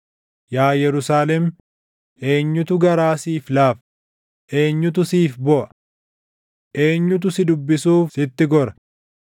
“Yaa Yerusaalem, eenyutu garaa siif laafa? Eenyutu siif booʼa? Eenyutu si dubbisuuf sitti gora?